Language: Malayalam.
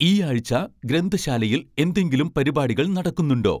ഈ ആഴ്ച്ച ഗ്രന്ഥശാലയിൽ എന്തെങ്കിലും പരിപാടികൾ നടക്കുന്നുണ്ടോ